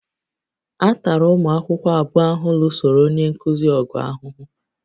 A tara ụmụ akwụkwọ abụọ ahụ lụsoro onye nkuzi ọgụ ahụhụ